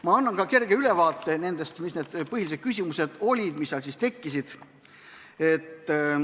Ma annan ka kerge ülevaate, mis olid põhilised küsimused, mis tekkisid.